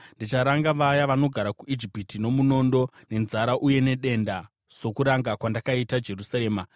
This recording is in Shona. Ndicharanga vaya vanogara kuIjipiti nomunondo, nenzara uye nedenda sokuranga kwandakaita Jerusarema.